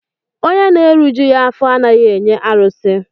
Onye na-erijughị afọ anaghị enye arụsị.